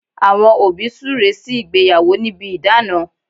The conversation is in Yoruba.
Àwọn òbí súre sí ìgbéyàwó níbi idana